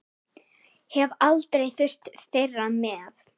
Hef aldrei þurft þeirra með.